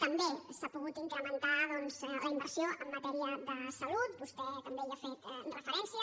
també s’ha pogut incrementar doncs la inversió en matèria de salut vostè també hi ha fet referència